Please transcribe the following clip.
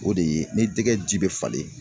O de ye ni jɛgɛ ji bɛ falen